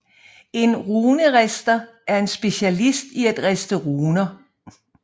En runerister er en specialist i at riste runer